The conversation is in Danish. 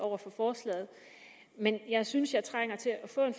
over for forslaget men jeg synes jeg trænger til at få en